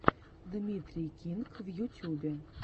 дмитрий кинг в ютьюбе